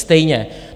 Stejně.